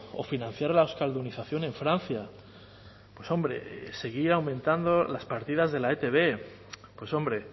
o financiar la euskaldunización en francia pues hombre seguir aumentando las partidas de la etb pues hombre